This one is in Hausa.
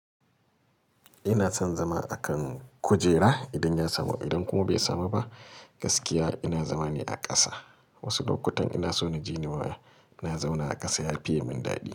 Ina son zama a kan kujera idan ya samu, idan kuma bai samu ba, gaskiya ina zama ne a ƙasa. Wasu lokutan ina so na ji ni na zauna a ƙasa ya fi yi min daɗi.